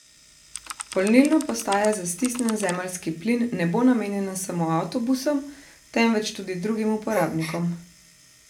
Polnilna postaja za stisnjen zemeljski plin ne bo namenjena samo avtobusom, temveč tudi drugim uporabnikom.